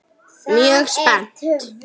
Mjög spennt.